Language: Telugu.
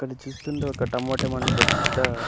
ఇక్కడ చూస్తుంటే టమాటో ఏమో పెద్ద --